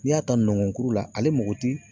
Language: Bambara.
N'i y'a ta nɔngɔnkuru la, ale mago ti